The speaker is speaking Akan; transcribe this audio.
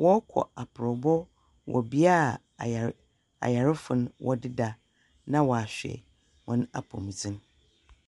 Wɔrekɔ aprɔw bɔ wɔ bea a ayarefo da ,na wahwɛ wɔn apɔwmu dzen.